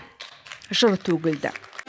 жыр төгілді